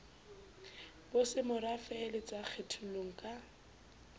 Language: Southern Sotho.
bosemorafe le sa kgetholleng ka